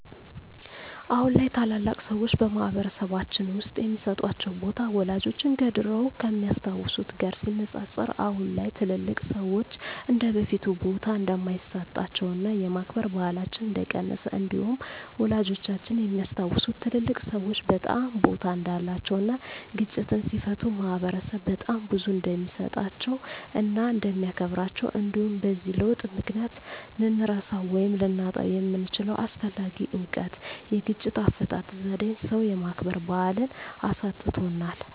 አሁን ላይ ታላላቅ ሰዎች በማህበረሰልባችን ውስጥ የሚሰጣቸው ቦታ ወላጆቻችን ከድሮው ከሚያስታውት ጋር ሲነፃፀር አሁን ላይ ትልልቅ ሰዎች እንደበፊቱ ቦታ እንደማይሰጣቸውና የማክበር ባህላችን እንደቀነሰ እንዲሁም ወላጆቻችን የሚያስታውሱት ትልልቅ ሰዎች በጣም ቦታ እንዳላቸው እና ግጭትን ሲፈቱ ማህበረሰብ በጣም ቦታ እንደሚሰጣቸው እና እንደሚያከብራቸው እንዲሁም በዚህ ለውጥ ምክንያት ልንረሳው ወይም ልናጣው የምንችለው አስፈላጊ እውቀት የግጭት አፈታት ዜዴን ሰው የማክበር ባህልን አሳጥቶናል።